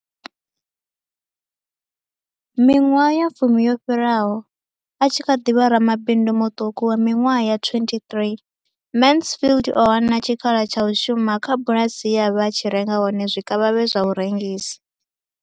Miṅwaha ya fumi yo fhiraho, a tshi kha ḓi vha ramabindu muṱuku wa miṅwaha ya 23, Mansfield o hana tshikhala tsha u shuma kha bulasi ye a vha a tshi renga hone zwikavhavhe zwa u rengisa.